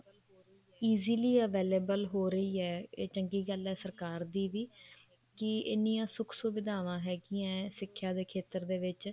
easily available ਹੋ ਰਹੀ ਹੈ ਇਹ ਚੰਗੀ ਗੱਲ ਹੈ ਸਰਕਾਰ ਦੀ ਵੀ ਕੀ ਇੰਨੀਆਂ ਸੁੱਖ ਸੁਵਿਧਾਵਾਂ ਹੈਗੀਆਂ ਸਿੱਖਿਆ ਦੇ ਖੇਤਰ ਦੇ ਵਿੱਚ